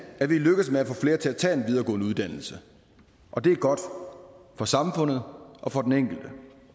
er lykkedes med at få flere til at tage en videregående uddannelse og det er godt for samfundet og for den enkelte